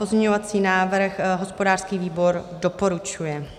Pozměňovací návrh hospodářský výbor doporučuje.